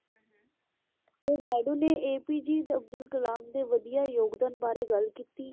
ਤੇ ਨਾਇਡੂ ਨੇ APJ ਅਬਦੁੱਲ ਕਲਾਮ ਦੇ ਵਧੀਆ ਯੋਗਦਾਨ ਬਾਰੇ ਗੱਲ ਕੀਤੀ,